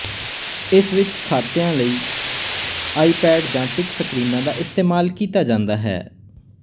ਇਸ ਵਿੱਚ ਖਾਤਿਆਂ ਲਈ ਆਈਪੈਡ ਜਾਂ ਟਿੱਚ ਸਕਰੀਨਾਂ ਦਾ ਇਸਤੇਮਾਲ ਕੀਤਾ ਜਾਂਦਾ ਹੈ